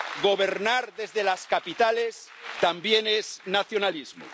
Gobernar desde las capitales también es nacionalismo.